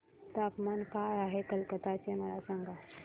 तापमान काय आहे कलकत्ता चे मला सांगा